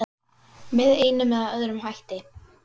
Fyrir átti Örn Helgu Móeiði.